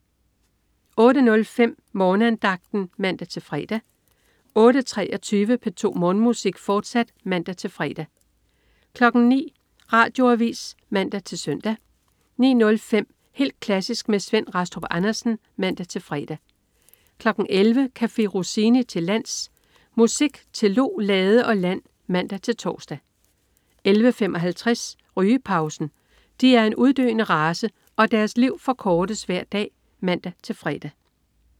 08.05 Morgenandagten (man-fre) 08.23 P2 Morgenmusik, fortsat (man-fre) 09.00 Radioavis (man-søn) 09.05 Helt klassisk med Svend Rastrup Andersen (man-fre) 11.00 Café Rossini til lands. Musik til lo, lade og land (man-tors) 11.55 Rygepausen. De er en uddøende race, og deres liv forkortes hver dag (man-fre)